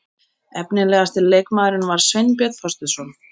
Efnilegasti leikmaðurinn var Sveinbjörn Þorsteinsson.